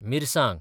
मिरसांग